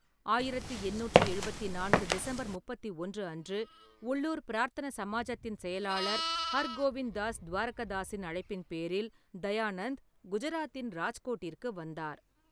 ஆயிரத்து எண்ணூற்றி எழுபத்தி நான்கு டிசம்பர் முப்பத்தி ஒன்று அன்று, உள்ளூர் பிரார்த்தன சமாஜத்தின் செயலாளர் ஹர்கோவிந்த் தாஸ் துவாரகதாஸின் அழைப்பின் பேரில் தயானந்த் குஜராத்தின் ராஜ்கோட்டிற்கு வந்தார்.